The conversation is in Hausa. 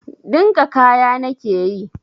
Dinka kaya na nake yi.